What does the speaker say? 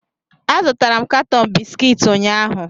Azụtara m katọn bisikiiti ụnyaahụ